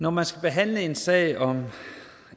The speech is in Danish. når man skal behandle en sag om